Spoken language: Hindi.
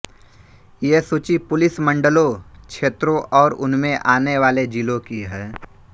ये सूची पुलिस मंडलों क्षेत्रों और उनमें आने वाले जिलों की है